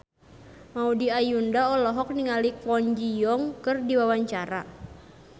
Maudy Ayunda olohok ningali Kwon Ji Yong keur diwawancara